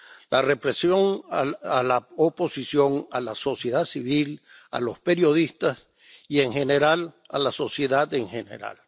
la represión a la oposición, a la sociedad civil, a los periodistas y a la sociedad en general.